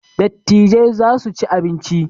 Dattijai za su ci abinci